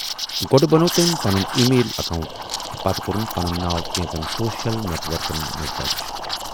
گۅڈٕ بنوو تمٔۍ پنُن ای میل اکوئنٹ تہٕ پتہٕ کورُن پنُن ناو کینژن سوشل نیٹ ورکن منز دَرٕج۔